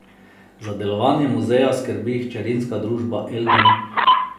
Za delovanje muzeja skrbi hčerinska družba Eldom.